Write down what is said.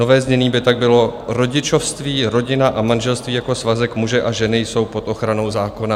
Nové znění by tak bylo: "Rodičovství, rodina a manželství jako svazek muže a ženy jsou pod ochranou zákona."